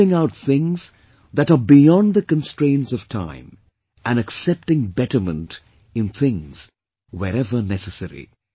Leaving out things that are beyond the constraints of time and accepting betterment in things wherever necessary